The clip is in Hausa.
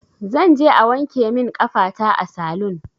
Zanje a wanke min ƙafata a salun